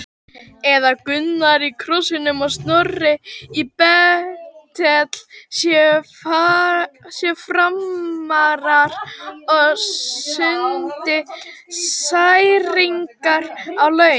Eða Gunnar í Krossinum og Snorri í Betel séu Framarar og stundi særingar á laun?